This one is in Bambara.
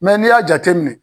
n'i y'a jateminɛ